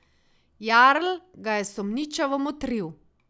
Jarl ga je sumničavo motril.